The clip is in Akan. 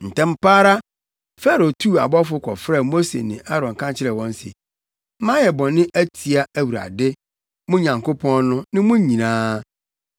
Ntɛm pa ara Farao tuu abɔfo kɔfrɛɛ Mose ne Aaron ka kyerɛɛ wɔn se, “Mayɛ bɔne atia Awurade, mo Nyankopɔn no, ne mo nyinaa.